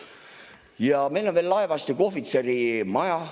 Ja meil on veel laevastiku ohvitseride maja.